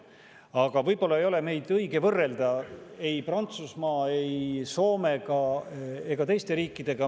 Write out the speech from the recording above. Aga võib-olla ei ole meid õige võrrelda Prantsusmaa, Soome ega teiste selliste riikidega.